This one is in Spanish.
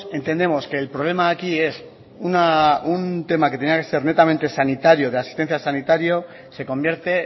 entendemos que el problema de aquí es un tema que tenía que ser netamente sanitario de asistencia sanitario se convierte